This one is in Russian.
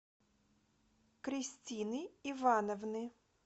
кристины ивановны